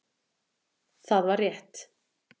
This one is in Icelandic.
Það var rétt